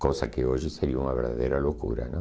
Coisa que hoje seria uma verdadeira loucura, não?